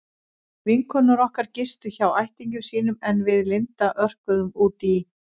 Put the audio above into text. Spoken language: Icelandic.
Vinkonur okkar gistu hjá ættingjum sínum en við Linda örkuðum út í